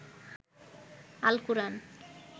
Al-Quran